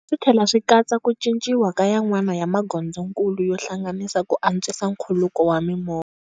Switlhela swi katsa ku cinciwa ka yan'wana ya magondzonkulu yo hlanganisa ku antswisa nkhuluko wa mimovha.